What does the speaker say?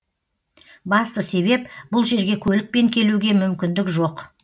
басты себеп бұл жерге көлікпен келуге мүмкіндік жоқ